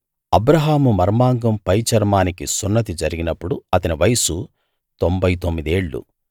అబ్రాహాము మర్మాంగం పైచర్మానికి సున్నతి జరిగినప్పుడు అతని వయస్సు తొంభై తొమ్మిది ఏళ్ళు